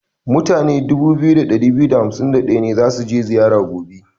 Mutane 2251 ne za su je zira gobe.